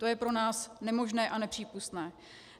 To je pro nás nemožné a nepřípustné.